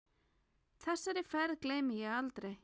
Þessari ferð gleymi ég aldrei.